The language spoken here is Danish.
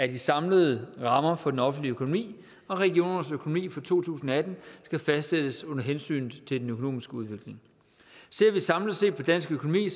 de samlede rammer for den offentlige økonomi og regionernes økonomi for to tusind og atten skal fastsættes under hensyn til den økonomiske udvikling ser vi samlet set på dansk økonomi